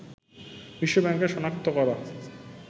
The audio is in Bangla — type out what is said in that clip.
বিশ্ব ব্যাংকের শনাক্ত করা